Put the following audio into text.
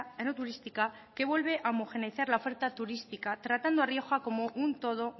enoturística que vuelve a homogeneizar la oferta turística tratando a rioja como un todo